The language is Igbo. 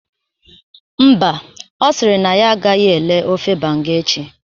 Mba, Ọ sịrị na ya agahi elee ofe banga echi